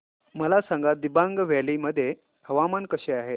मला सांगा दिबांग व्हॅली मध्ये हवामान कसे आहे